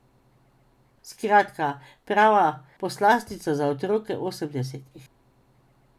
Skratka, prava poslastica za otroke osemdesetih.